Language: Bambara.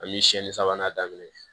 An bɛ siyɛnni sabanan daminɛ